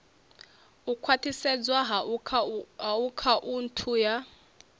u khwathisedzwa ha akhaunthu ya